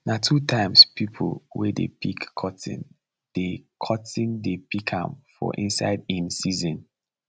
na two times people wey dey pick cotton dey cotton dey pick am for inside im season